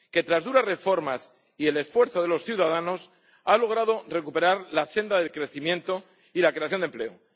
Que tras duras reformas y el esfuerzo de los ciudadanos ha logrado recuperar la senda del crecimiento y la creación de empleo.